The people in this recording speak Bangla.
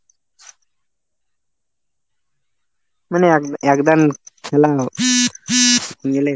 মানে এ ⁓ এক দান খেললাম নিলেই